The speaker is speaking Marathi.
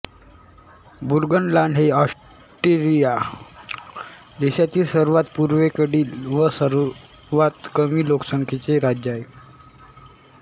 बुर्गनलांड हे ऑस्ट्रिया देशातील सर्वात पूर्वेकडील व सर्वात कमी लोकसंख्येचे राज्य आहे